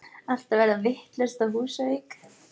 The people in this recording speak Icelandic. Allt að verða vitlaust á Húsavík!!!!!